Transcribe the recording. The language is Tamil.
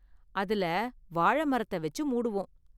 அதுல வாழை மரத்தை வெச்சு மூடுவோம்.